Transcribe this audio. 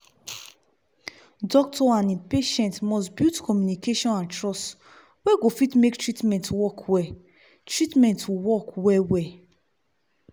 doctor and him patient must build communication and trust we go fit make treatment work well treatment work well well.